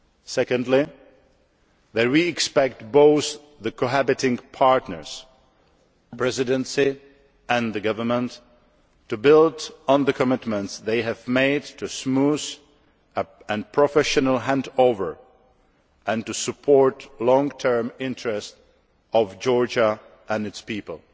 Secondly, that we expect both the cohabiting partners Presidency and government to build on the commitments they have made to a smooth and professional handover, and to support the long term interests of Georgia and its people.